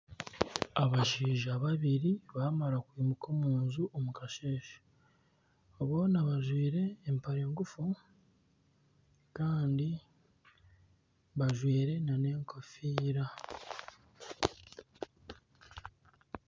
Abashaija babiri baamara kwimuka omunju omukasheeshe boona bajwaire empare nguufu kandi bajwaire na n'enkofiira.